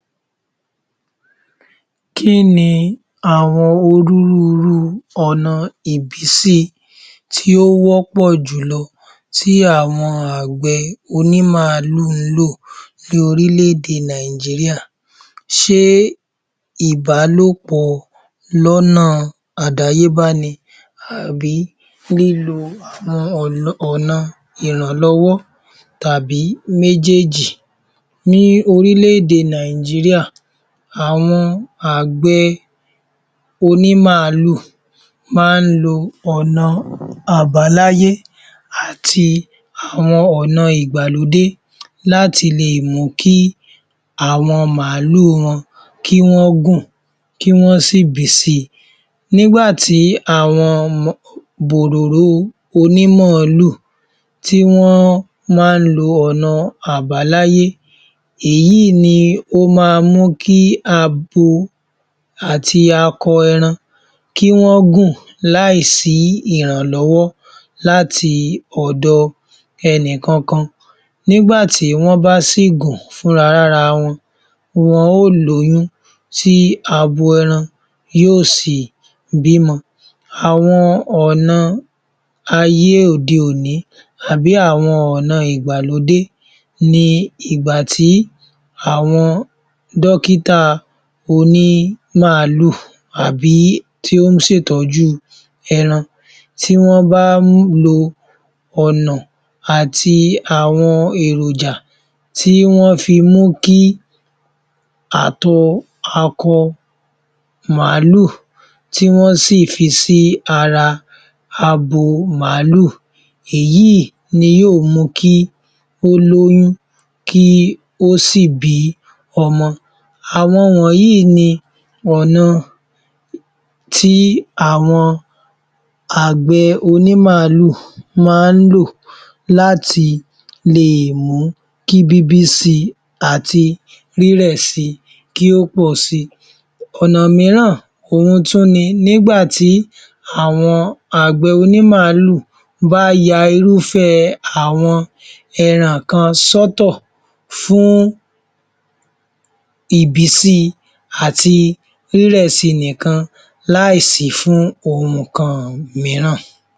Kí ni àwọn onírúurú ọ̀nà ìbísí tí ó wọ́pọ̀ jùlọ tí àwọn àgbẹ̀ onímàálù ń lò ní orílèèdè Nàìjíríà? Ṣé ìbálòpọ̀ lọ́nà àdáyébá ni àbí lílo àwọn ọ̀nà ìrànlọ́wọ́ tàbí méjéèjì? Ní oríléèdè Nàìjíríà, àwọn àgbẹ̀ onímàálù máa ń lo ọ̀nà àbáláyé àti àwọn ọ̀nà ìgbàlódé láti lè mú kí àwọn màálù wọn kí wọ́n gùn, kí wọ́n sì bí sí i. Nígbà tí àwọn um bòròró onímọ̀ọ́lù tí wọ́n wá ń lo ọ̀nà àbáláyé, èyí ló ma mú kí abo àti akọ ẹran kí wọ́n gùn láìsí ìrànlọ́wọ́ láti ọ̀dọ̀ ẹnìkan kan. Nígbà tí wọ́n bá sì gùn, fúnra lára wọn, wọn ó lóyún tí abo ẹran yóò sì bímọ. Àwọn ọ̀nà ayé òde-òní àbí àwọn ọ̀nà ìgbàlódé ni ìgbà tí àwọn dọ́kítà onímàálù àbí tí ó ń ṣètọ́jú ẹran tí wọ́n bá lo ọ̀nà àti àwọn èròjà tí wọ́n fi mú kí àtọ̀ akọ màálù tí wọ́n sì fi sí ara abo màálù, èyíì ni yóò mú kí ó lóyún, kí ó sì bí ọmọ. Àwọn wọ́nyìí ni ọ̀nà tí àwọn àgbẹ̀ onímàálù máa ń lò láti leè mú kí bíbí sí i àti rírẹ̀ si kí ó pọ̀ si. Ọ̀nà mìíràn òhun tún ni nigbà tí àwọn àgbẹ̀ onímàálù bá ya irúfẹ́ àwọn ẹran kan sọ́tọ̀ fún ìbí sí i àti rírẹ̀ si nìkan láìsí fún ohun kan mìíràn.